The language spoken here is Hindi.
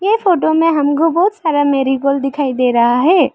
ये फोटो में हमको बहोत सारा मेरीगोल्ड दिखाई दे रहा है।